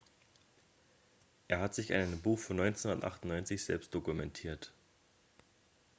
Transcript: er hat sich in einem buch von 1998 selbst dokumentiert